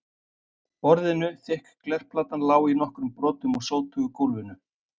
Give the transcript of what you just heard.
borðinu, þykk glerplatan lá í nokkrum brotum á sótugu gólfinu.